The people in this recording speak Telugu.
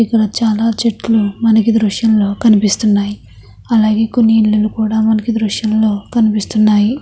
ఇక్కడ చాలా చెట్టులు మనకి ఈ దృశ్యం లో కనిపిస్తున్నాయి. అలాగే మనకి ఇక్కడ కొన్నిఇల్లులు కూడా మనకి ఈ దృశ్యం లో కనిపిస్తున్నాయి .